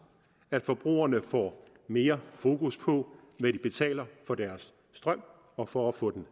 at forbrugerne får mere fokus på hvad de betaler for deres strøm og for at få den